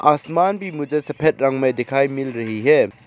आसमान भी मुझे सफेद रंग में दिखाई मिल रही है।